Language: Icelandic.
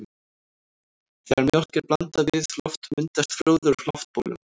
Þegar mjólk er blandað við loft myndast froða úr loftbólum.